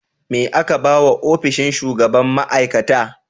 Me aka ba wa ofishin shugaban ma; aikata?